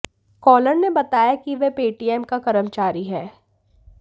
collar ने बताया कि वह पेटीएम का कर्मचारी है